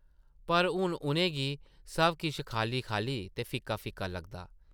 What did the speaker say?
पर हून उʼनें गी सब किश खाल्ली-खाल्ली ते फिक्का-फिक्का लगदा ।